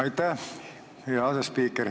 Aitäh, hea asespiiker!